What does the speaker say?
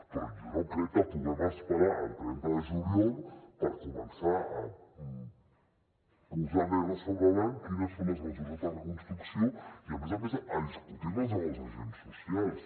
però jo no crec que puguem esperar al trenta de juliol per començar a posar negre sobre blanc quines són les mesures de reconstrucció i a més a més a discutir les amb els agents socials